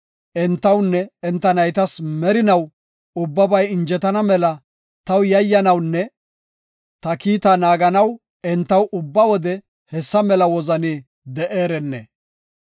Entawunne enta naytas merinaw ubbabay injetana mela taw yayyanawunne ta kiita naaganaw entaw ubba wode hessa mela wozani de7eerenne.